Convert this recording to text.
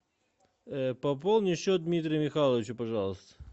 пополни счет дмитрия михайловича пожалуйста